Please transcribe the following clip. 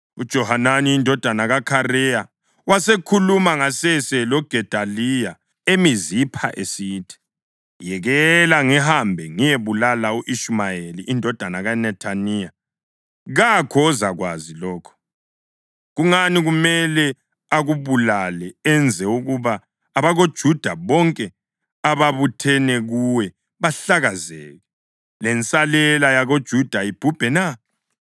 UJohanani indodana kaKhareya wasekhuluma ngasese loGedaliya eMizipha esithi, “Yekela ngihambe ngiyebulala u-Ishumayeli indodana kaNethaniya, kakho ozakwazi lokho. Kungani kumele akubulale enze ukuba abakoJuda bonke ababuthene kuwe bahlakazeke, lensalela yakoJuda ibhubhe na?”